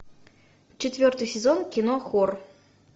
четвертый сезон кино хор